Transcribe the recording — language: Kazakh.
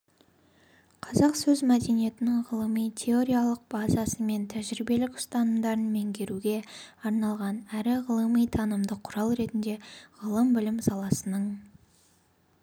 қазақ сөз мәдениетінің ғылыми-теориялық базасы мен тәжірибелік ұстанымдарын меңгеруге арналған әрі ғылыми-танымдық құрал ретінде ғылым-білім саласының